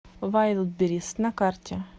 вайлдберриз на карте